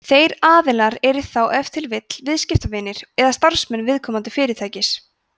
þeir aðilar eru þá ef til vill viðskiptavinir eða starfsmenn viðkomandi fyrirtækis